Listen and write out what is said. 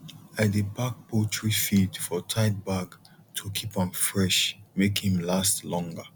i dey pack poultry feed for tight bag to keep am fresh make him stay longer